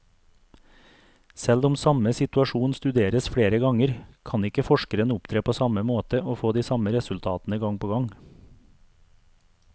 Selv om samme situasjon studeres flere ganger, kan ikke forskeren opptre på samme måte og få de samme resultatene gang på gang.